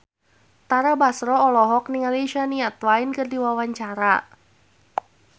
Tara Basro olohok ningali Shania Twain keur diwawancara